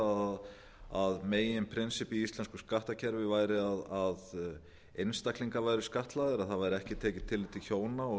sagt að meginprinsippið i íslensku sakttakerfi væri að einstaklingar væru skattlagðir að það væri ekki tekið tillit til hjóna